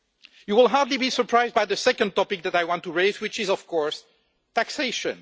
You will hardly be surprised by the second topic that I want to raise which is, of course, taxation.